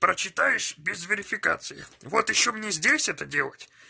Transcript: прочтаиеш без верификации вот ещё мне здесь это делать